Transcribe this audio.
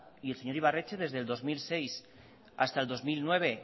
y el señor ibarretxe desde el dos mil seis hasta el dos mil nueve